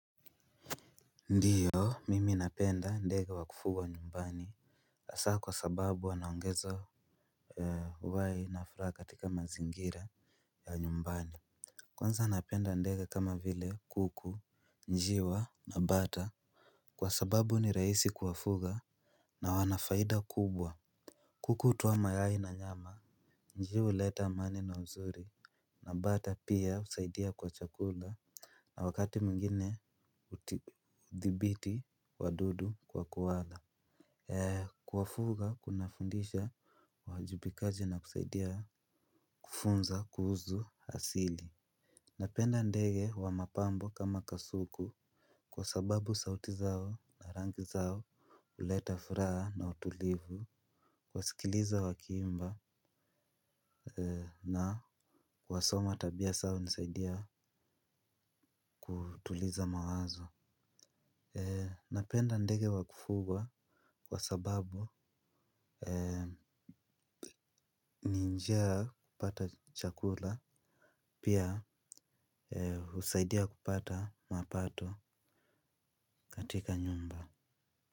Ndio, mimi napenda ndege wa kufugwa nyumbani hasaa kwa sababu wanaongeza uhai na furaha katika mazingira ya nyumbani. Kwanza napenda ndega kama vile kuku, njiwa na bata. Kwa sababu ni rahisi kuwafuga na wana faida kubwa. Kuku hutoa mayai na nyama. Njiwa huleta amani na uzuri na bata pia husaidia kwa chakula. Na wakati mwingine uthibiti wadudu kwa kuwala. Kuwafuga kuna fundisha uwajubikaji na kusaidia kufunza kuhuzu asili. Napenda ndege wa mapambo kama kasuku kwa sababu sauti zao na rangi zao huleta furaha na utulivu. Kuwasikiliza wakiimba na kuwasoma tabia zao hunisaidia kutuliza mawazo. Napenda ndege wa kufugwa kwa sababu ni njia ya kupata chakula pia husaidia kupata mapato katika nyumba.